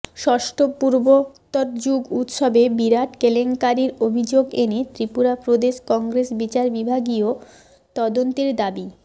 ষষ্ঠ পূর্বোত্তর যুব উৎসবে বিরাট কেলেংকারীর অভিযোগ এনে ত্রিপুরা প্রদেশ কংগ্রেস বিচার বিভাগীয় তদন্তের দাবি